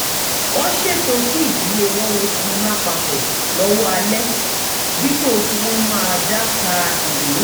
wọ́n ṣètò kí ìdílé wọn wo sinimá papọ̀ lọ́wọ́ alẹ́ dípò kí wọ́n máa dá ka ìwé